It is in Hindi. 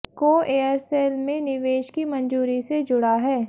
को एयरसेल में निवेश की मंजूरी से जुड़ा़ है